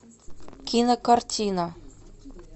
кинокартина